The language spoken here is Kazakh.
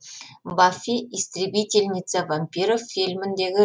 баффи истребительница вампиров фильміндегі